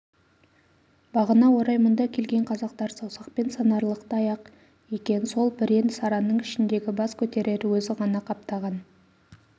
бағына орай мұнда келген қазақтар саусақпен санарлықтай-ақ екен сол бірен-саранның ішіндегі бас көтерер өзі ғана қаптаған